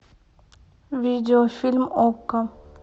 видеофильм окко